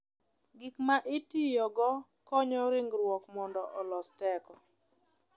Gik ma itiyogo konyo ringruok mondo olos teko.